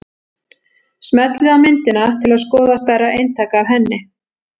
Smellið á myndina til að skoða stærra eintak af henni.